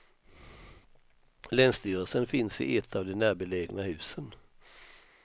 Länsstyrelsen finns i ett av de närbelägna husen.